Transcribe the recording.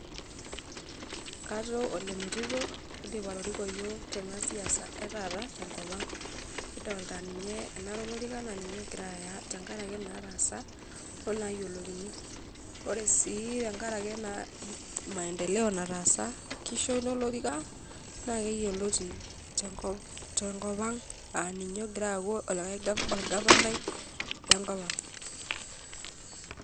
Katoo ole metito oidim atoriko iyiook tena siasa etaata tenkop ang. Kidolta ninye enare olorika naa ninye ogira aya , tenkaraki inaatasa onaayiolokini . Ore sii tenkaraki ena maendeleo nataasa , kisho ina olorika , naa keyioloti tenkop ang aa ninye ogira aaku orgavanai lenkop ang.